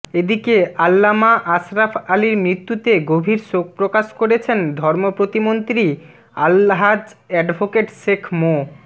এদিকে আল্লামা আশরাফ আলীর মৃত্যুতে গভীর শোক প্রকাশ করেছেন ধর্ম প্রতিমন্ত্রী আলহাজ্ব এডভোকেট শেখ মো